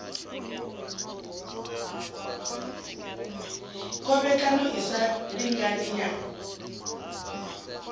khovhekano i sa lingani ya